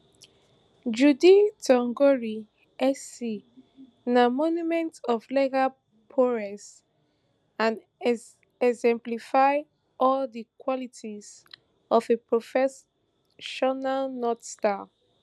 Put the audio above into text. judy thongori sc na monument of legal prowess and exemplify all di qualities of a professional north star